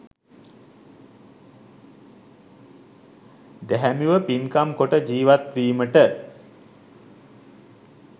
දැහැමිව පින්කම් කොට ජීවත්වීමට